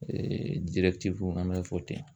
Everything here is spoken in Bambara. Eee dirɛtiwu an b'a fɔ ten